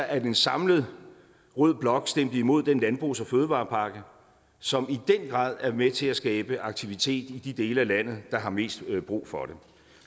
at en samlet rød blok stemte imod den landbrugs og fødevarepakke som i den grad er med til at skabe aktivitet i de dele af landet der har mest brug for det